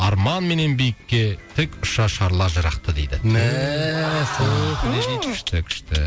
арман менен биікке тік шашарлар жырақты дейді күшті күшті